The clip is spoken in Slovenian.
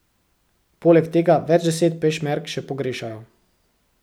Poleg tega več deset pešmerg še pogrešajo.